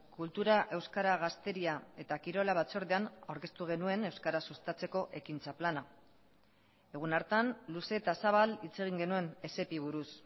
kultura euskara gazteria eta kirola batzordean aurkeztu genuen euskara sustatzeko ekintza plana egun hartan luze eta zabal hitz egin genuen esepi buruz